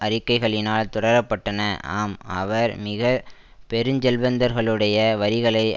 அறிக்கைகளினால் தொடர பட்டன ஆம் அவர் மிக பெருஞ்செல்வந்தர்களுடைய வரிகளை